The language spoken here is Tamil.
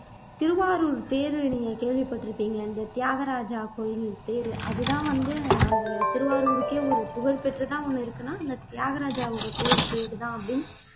திருவாரூர் தேர் நீங்க கேள்விப்பட்டிருப்பீங்க அந்த தியாகராஜ கோவில் தேரு அதுதான் வந்து அந்த திருவாரூருக்கே ஒரு புகழ்பெற்றதா ஒண்ணு இருக்குனு அந்த தியாகராஜாவோட கோவில் தேருதான் அப்படின்னு